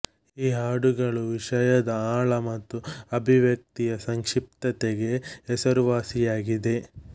ಈ ಹಾಡುಗಳು ವಿಷಯದ ಆಳ ಮತ್ತು ಅಭಿವ್ಯಕ್ತಿಯ ಸಂಕ್ಷಿಪ್ತತೆಗೆ ಹೆಸರುವಾಸಿಯಾಗಿದೆ